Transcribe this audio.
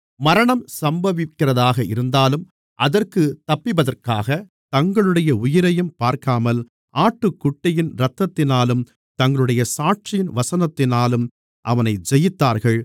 மரணம் சம்பவிக்கிறதாக இருந்தாலும் அதற்குத் தப்பிப்பதற்காக தங்களுடைய உயிரையும் பார்க்காமல் ஆட்டுக்குட்டியின் இரத்தத்தினாலும் தங்களுடைய சாட்சியின் வசனத்தினாலும் அவனை ஜெயித்தார்கள்